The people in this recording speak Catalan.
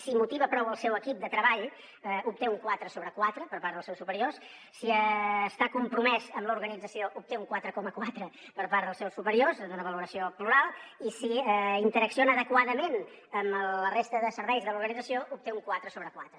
si motiva prou el seu equip de treball obté un quatre sobre quatre per part dels seus superiors si està compromès amb l’organització obté un quatre coma quatre per part dels seus superiors en una valoració plural i si interacciona adequadament amb la resta de serveis de l’organització obté un quatre sobre quatre